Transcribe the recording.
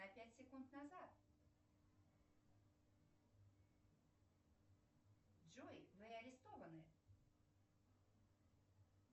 на пять секунд назад джой вы арестованы